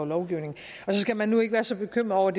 lovgivning så skal man nu ikke være så bekymret over